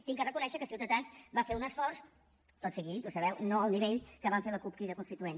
he de reconèixer que ciutadans va fer un esforç tot sigui dit ho sabeu no al nivell que vam fer la cup crida constituent